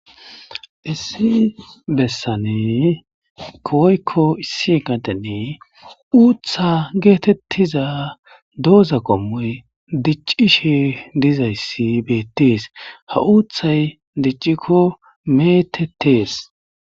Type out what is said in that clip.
Issi bessani woykko issi gadeni uutha geetettiza dooza qommoyi diccishe dizayssi beettees. Ha uuthay diccikko meetettees.